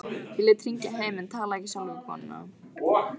Ég lét hringja heim en talaði ekki sjálfur við konuna.